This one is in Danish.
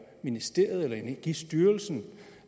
ministeriet eller energistyrelsen